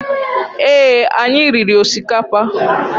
Ee, anyị riri osikapa